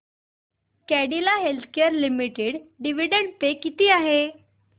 Cadila healthcare limited dividend pay किती आहे